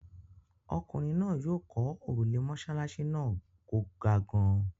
Ọkùnrin náà yóò kọ́ òrùlé mọ́ṣáláṣí náà kò ga gan-an.